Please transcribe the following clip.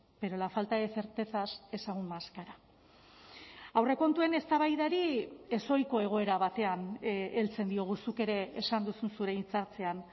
pero la falta de certezas es aún más cara aurrekontuen eztabaidari ezohiko egoera batean heltzen diogu zuk ere esan duzu zure hitza hartzean